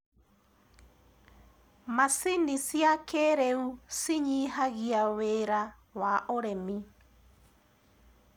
macinĩ cia kĩiriu cinyihagia wira wa ũrĩmi